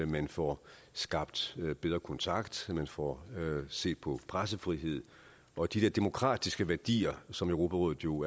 man får skabt bedre kontakt at man får set på pressefrihed og de der demokratiske værdier som europarådet jo